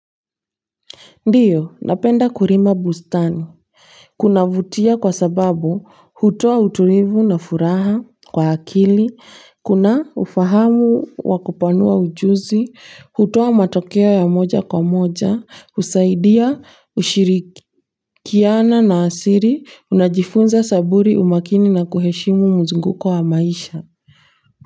Ndio, napenda kulima bustani. Kuna vutia kwa sababu, hutoa utulivu na furaha kwa akili, kuna ufahamu wa kupanua ujuzi, hutoa matokeo ya moja kwa moja, husaidia, ushirikiana na asili unajifunza saburi umakini na kuheshimu mzunguko wa maisha.